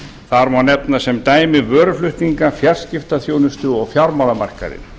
þar má nefna sem dæmi vöruflutninga fjarskiptaþjónustu og fjármálamarkaðinn